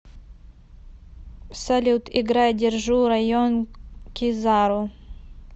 салют играй держу район кизару